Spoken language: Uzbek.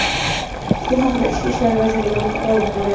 Bu haqda Ichki ishlar vazirligi ma’lum qildi .